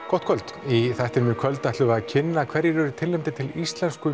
gott kvöld í þættinum í kvöld ætlum við að tilkynna hverjir eru tilnefndir til Íslensku